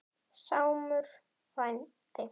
Sámur frændi